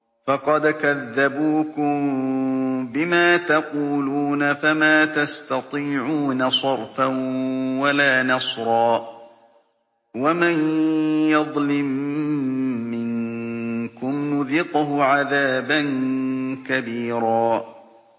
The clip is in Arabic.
فَقَدْ كَذَّبُوكُم بِمَا تَقُولُونَ فَمَا تَسْتَطِيعُونَ صَرْفًا وَلَا نَصْرًا ۚ وَمَن يَظْلِم مِّنكُمْ نُذِقْهُ عَذَابًا كَبِيرًا